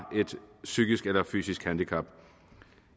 et psykisk eller fysisk handicap